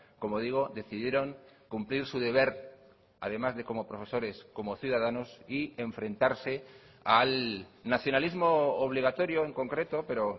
como digo decidieron cumplir su deber además de cómo profesores como ciudadanos y enfrentarse al nacionalismo obligatorio en concreto pero